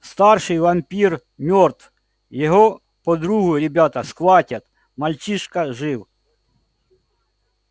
старший вампир мёртв его подругу ребята схватят мальчишка жив